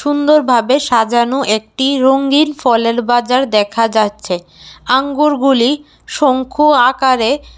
সুন্দরভাবে সাজানো একটি রঙ্গিন ফলের বাজার দেখা যাচ্ছে। আঙ্গুর গুলি শঙ্কু আকারে--